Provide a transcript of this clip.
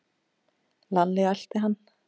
Lalli elti hann.